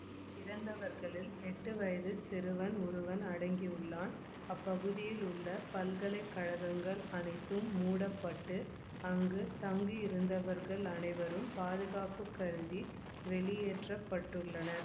இறந்தவர்களில் எட்டு வயதுச் சிறுவன் ஒருவனும் அடங்கியுள்ளான் அப்பகுதியில் உள்ள பல்கலை கழகங்கள் அனைத்தும் மூடப்பட்டு அங்கு தங்கியிருந்தவர்கள் அனைவரும் பாதுகாப்பு கருதி வெளியேற்றப்பட்டுள்ளனர்